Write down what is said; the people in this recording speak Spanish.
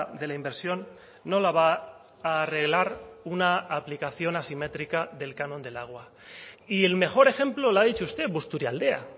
de la inversión no la va a arreglar una aplicación asimétrica del canon del agua y el mejor ejemplo lo ha dicho usted busturialdea